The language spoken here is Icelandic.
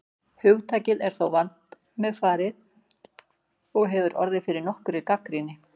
Hugtakið er þó vandmeðfarið og hefur orðið fyrir nokkurri gagnrýni.